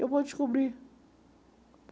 Eu vou descobrir.